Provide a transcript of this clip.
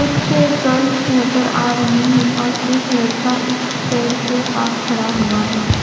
कुछ गर्ल्स नजर आ रही है और एक लड़का इस पेड़ के पास खड़ा हुआ है।